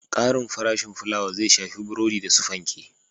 Ƙarin farashin filawa zai shafi farashin burodi da su fanke